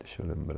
Deixa eu lembrar.